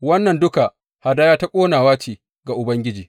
Wannan duka hadaya ta ƙonawa ce ga Ubangiji.